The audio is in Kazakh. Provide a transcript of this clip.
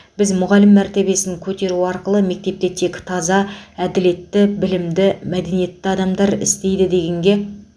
біз мұғалім мәртебесін көтеру арқылы мектепте тек таза әділетті білімді мәдениетті адамдар істейді дегенге